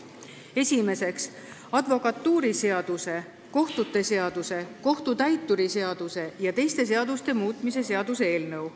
Esimeseks, advokatuuriseaduse, kohtute seaduse, kohtutäituri seaduse ja teiste seaduste muutmise seaduse eelnõu.